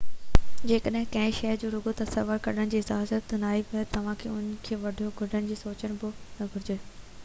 جيڪڏهن ڪنهن شئي جي رڳو تصوير ڪڍڻ جي اجازت ناهي ته توهانکي ان جي وڊيو ڪڍڻ جو سوچڻ به نه گهرجي